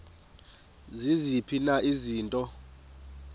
ziziphi na izinto